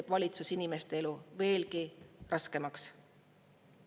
Aga valitsus teeb inimeste elu veelgi raskemaks.